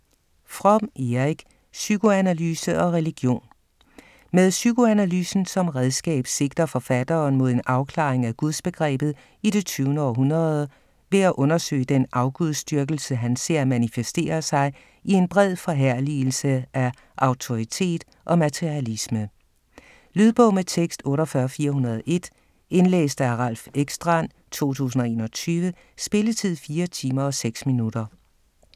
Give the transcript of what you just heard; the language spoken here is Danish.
Fromm, Erich: Psykoanalyse og religion Med psykoanalysen som redskab sigter forfatteren mod en afklaring af gudsbegrebet i det 20. århundrede ved at undersøge den afgudsdyrkelse han ser manifesterer sig i en bred forherligelse af autoritet og materialisme. Lydbog med tekst 48401 Indlæst af Ralph Ekstrand, 2021. Spilletid: 4 timer, 6 minutter.